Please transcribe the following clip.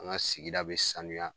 An ŋa sigida bɛ sanuya